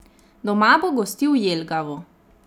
Doma bo gostil Jelgavo.